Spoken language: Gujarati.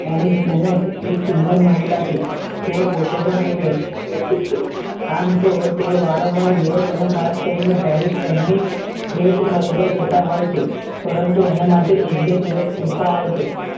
એક સુંદર મહિલા છે તેઓ પોતે પણ એક વ્યક્તિ છે આમ તો તેઓ વારંવાર europe અને ખાસ કરીને paris તેમની ખરીદવા જતા હોય છે પરંતુ એના માટે એક બે દિવસ પૂરતા હોય છે